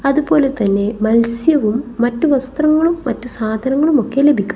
അതുപോലെതന്നെ മത്സ്യവും മറ്റു വസ്ത്രങ്ങളും മറ്റു സാധനങ്ങളും ഒക്കെ ലഭിക്കും.